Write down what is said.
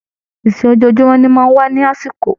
Ìṣe ojojumọ ni o máa n wa lakọ́silẹ̀.